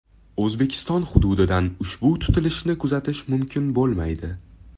O‘zbekiston hududidan ushbu tutilishni kuzatish mumkin bo‘lmaydi.